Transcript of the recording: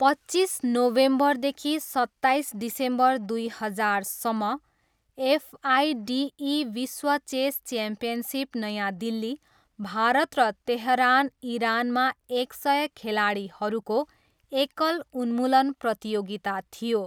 पच्चिस नोभेम्बरदेखि सत्ताइस डिसेम्बर दुई हजारसम्म, एफआइडिई विश्व चेस च्याम्पियनसिप नयाँ दिल्ली, भारत र तेहरान, इरानमा एक सय खेलाडीहरूको एकल उन्मूलन प्रतियोगिता थियो।